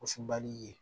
Csli ye